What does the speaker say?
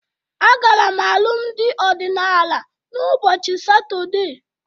Agara m alụmdị ọdịnaala n'ụbọchị Satọde